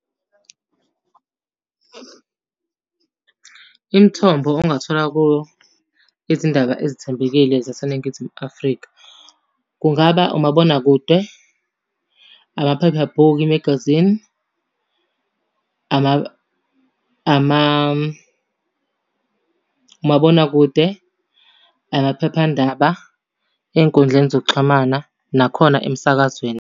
Imithombo ongathola kuyo izindaba ezethembekile zaseNingizimu Afrika, kungaba umabonakude, amaphephabhuku i-magazine, , umabonakude, amaphephandaba, ey'nkundleni zokuxhumana, nakhona emsakazweni.